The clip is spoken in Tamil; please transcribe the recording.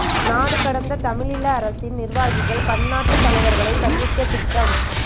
நாடு கடந்த தமிழீழ அரசின் நி்ர்வாகிகள் பன்னாட்டுத் தலைவர்களை சந்திக்க திட்டம்